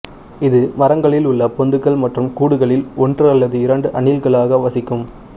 இது மரங்களில் உள்ள பொந்துகள் மற்றும் கூடுகளில் ஒன்று அல்லது இரண்டு அணில்களாக வசிக்கும்